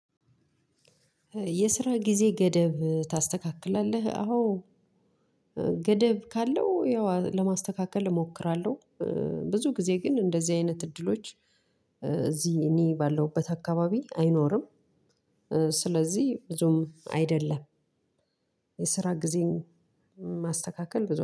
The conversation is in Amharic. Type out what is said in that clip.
የስራ ጊዜ ገደብ ታስተካክላለህ አዎ ገደብ ካለው ያው ለማስተካከል እሞክራለሁ። ብዙ ጊዜ ግን እንደዚህ አይነት እድሎች እዚ እኔ ባለሁበት አካባቢ አይኖርም። ስለዚህ ብዙም አይደለም። የስራ ጊዜን ማስተካከል ብዙ